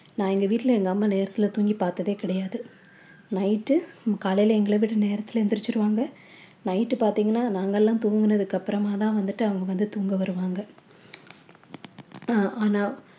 நான் எங்க வீட்ல எங்க அம்மா நேரத்தில தூங்கி பார்த்ததே கிடையாது night காலையில எங்களை விட நேரத்தில எழுந்திடுச்சிடு வாங்க night பார்த்தீங்கன்னா நாங்கெல்லாம் தூங்கினதுக்கு அப்புறமா தான் வந்துட்டு அவங்க வந்து தூங்க வருவாங்க அஹ் ஆனா